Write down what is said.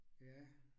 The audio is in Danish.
Ja